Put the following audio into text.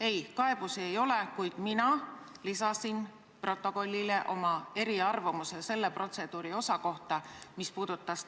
Ei, kaebusi ei ole, kuid mina lisasin protokollile oma eriarvamuse protseduuri selle osa kohta, mis puudutas